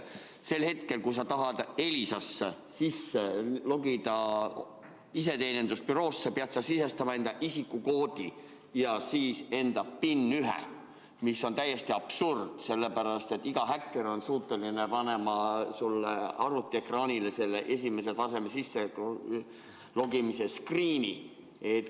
Sel hetkel, kui sa tahad sisse logida Elisa iseteenindusbüroosse, pead sa sisestama oma isikukoodi ja siis PIN-1, mis on täiesti absurdne, sellepärast et iga häkker on suuteline panema sulle arvutiekraanile selle esimese taseme sisselogimise screen'i.